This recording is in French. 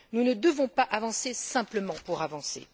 Nous ne devons pas avancer simplement pour avancer.